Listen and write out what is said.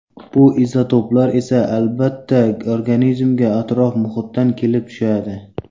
Bu izotoplar esa albatta organizmga atrof-muhitdan kelib tushadi.